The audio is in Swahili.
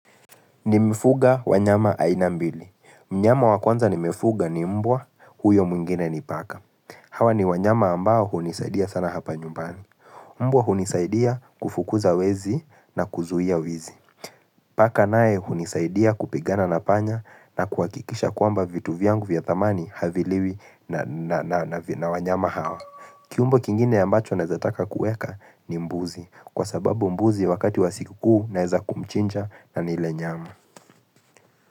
Nimefuga wanyama aina mbili. Mnyama wakuanza nimefuga ni mbwa huyo mwingine ni paka. Hawa ni wanyama ambao hunisaidia sana hapa nyumbani. Mbwa hunisaidia kufukuza wezi na kuzuia wizi. Paka naye hunisaidia kupigana na panya na kuhakikisha kwamba vitu vyangu vya thamani haviliwi na na na wanyama hawa. Kiumbe kingine ambacho naeza taka kuweka ni mbuzi kwa sababu mbuzi wakati wa sikukuu naeza kumchinja na nile nyama.